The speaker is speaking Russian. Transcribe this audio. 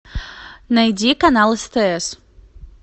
найди канал стс